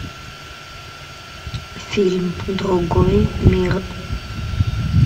фильм другой мир